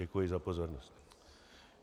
Děkuji za pozornost.